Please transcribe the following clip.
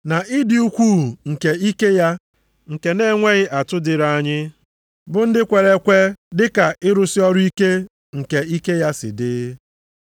Na ịdị ukwuu nke ike ya nke na-enweghị atụ dịrị anyị, bụ ndị kwere ekwe, dịka ịrụsị ọrụ ike nke ike ya si dị.